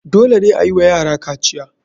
Dole ne ayiwa yara kaciya.